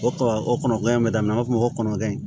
O kuma o kɔnɔ gan in bɛ daminɛ an b'a fɔ o ma ko kɔnɔdon